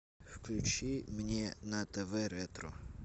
включи мне на тв ретро